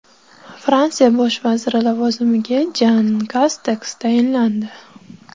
Fransiya bosh vaziri lavozimiga Jan Kasteks tayinlandi.